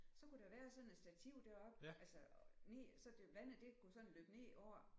Så kunne der være sådan et stativ deroppe altså ned så det vandet det kunne sådan løbe ned over